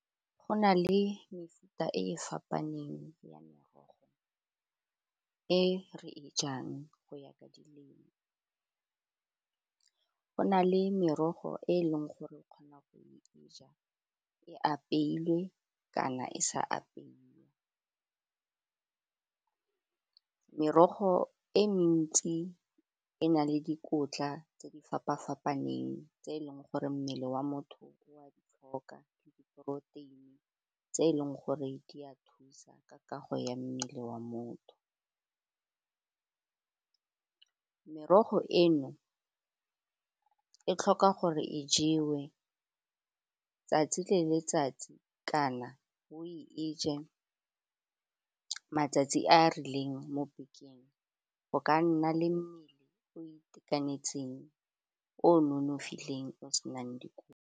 Go na le mefuta e e fapaneng ya merogo e re e jang go ya ka di lema go na le merogo e e leng gore o kgona go ja e apeilwe kana e sa apeiwa. Merogo e mentsi e na le dikotla tse di fapa-fapaneng tse e leng gore mmele wa motho wa di tlhoka le diporoteini tse e leng gore di a thusa ka kago ya mmele wa motho merogo eno e tlhoka gore e jewe tsatsi le letsatsi kana o e je matsatsi a a rileng mo bekeng o ka nna le mmele o itekanetseng o nonofileng o senang .